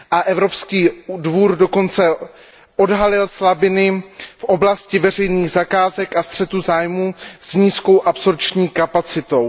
Evropský účetní dvůr dokonce odhalil slabiny v oblasti veřejných zakázek a střetu zájmů s nízkou absorpční kapacitou.